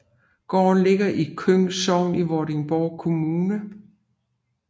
Gården ligger i Køng Sogn i Vordingborg Kommune